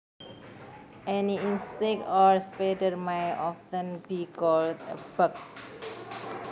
Any insect or spider may often be called a bug